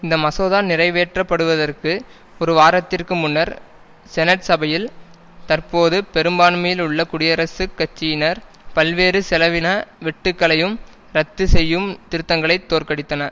இந்த மசோதா நிறைவேற்றப்படுவதற்கு ஒரு வாரத்திற்கு முன்னர் செனட் சபையில் தற்போது பெரும்பான்மையில் உள்ள குடியரசுக் கட்சியினர் பல்வேறு செலவின வெட்டுக்களையும் ரத்து செய்யும் திருத்தங்களை தோற்கடித்தன